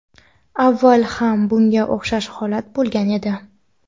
Avval ham bunga o‘xshash holat bo‘lgan edi.